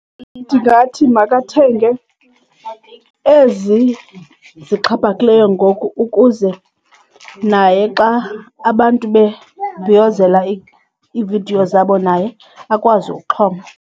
Ndingathi makathenge ezi zixhaphakileyo ngoku ukuze naye xa abantu bebhiyozela iividiyo zabo naye akwazi ukuxhoma.